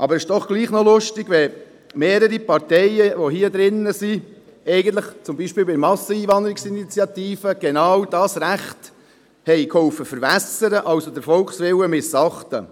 Aber es ist doch bemerkenswert, wenn mehrere Parteien, die hier drin vertreten sind, zum Beispiel bei der eidgenössischen Volksinitiative «Gegen Masseneinwanderung» mitgeholfen haben, genau dieses Recht zu verwässern, und somit den Volkswillen missachtet haben.